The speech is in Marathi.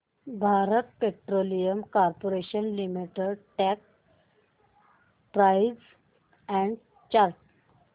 Bharat Petroleum Corporation Limited stock price and chart